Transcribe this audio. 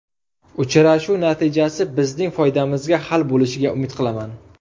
Uchrashuv natijasi bizning foydamizga hal bo‘lishiga umid qilaman.